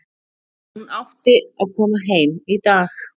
Hún átti að koma heim í dag.